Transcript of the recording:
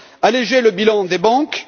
Alléger le bilan des banques...